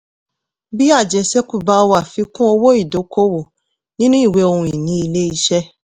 bí àjẹṣẹ́kù bá wà fi kún owó ìdókòòwò nínú ìwé ohun-ìní ilé-iṣẹ́.